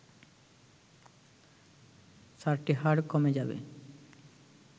চারটি হাড় কমে যাবে